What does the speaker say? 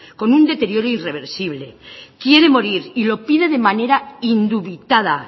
con un deterioro irreversible quiere morir y lo pide de manera indubitada